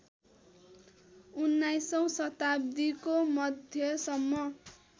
उन्नाइसौँ शताव्दीको मध्यसम्म